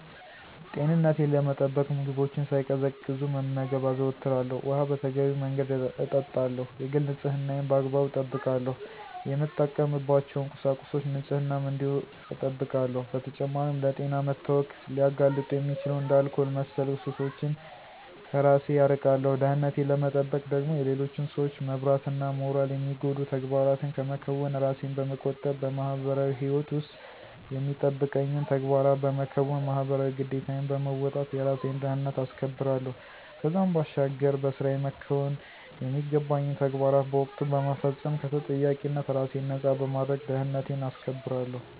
ጤንነቴን ለመጠበቅ ምግቦችን ሳይቀዘቅዙ መመገብ አዘወትራለሁ፣ ውኃ በተገቢው መንገድ እጠጣለሁ፣ የግል ንፅህናዬን በአግባቡ እጠብቃለሁ፣ የምጠቀምባቸውን ቁሳቁሶች ንፅህናም እንዲሁ እጠብቃለሁ። በተጨማሪም ለጤና መታወክ ሊያጋልጡ የሚችሉ እንደ አልኮል መሠል ሱሶችን ከራሴን አርቃለሁ። ደህንነቴን ለመጠበቅ ደግሞ የሌሎችን ሰዎች መብትና ሞራል የሚጎዱ ተግባራትን ከመከወን ራሴን በመቆጠብ በማህበራዊ ህይወት ውስጥ የሚጠበቅብኝን ተግባራት በመከወን ማህበራዊ ግዴታዬን በመወጣት የራሴን ደህንነት አስከብራለሁ። ከዛም ባሻገር በስራየ መከወን የሚገባኝን ተግባራት በወቅቱ በመፈፀም ከተጠያቂነት ራሴን ነፃ በማድረግ ደህንነቴን አስከብራለሁ።